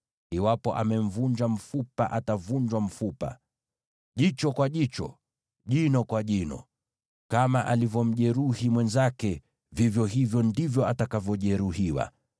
iwapo amemvunja mfupa atavunjwa mfupa, jicho kwa jicho, jino kwa jino. Kama alivyomjeruhi mwenzake, vivyo hivyo ndivyo atakavyojeruhiwa.